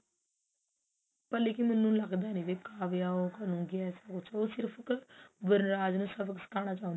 ਪਰ ਲੇਕਿਨ ਮੈਨੂੰ ਲੱਗਦਾ ਨੀ ਵੀ ਕਾਵਿਆ ਉਹ ਕਰੂਗੀ ਐਸਾ ਕੁਛ ਉਹ ਸਿਰਫ ਵਨਰਾਜ ਨੂੰ ਸਬਕ ਸਿਖਾਉਣਾ ਚਾਹੁੰਦੀ